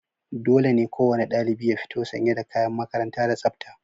Dole ne kowane ɗalibi ya fito sanye da kayan makaranta da tsafta.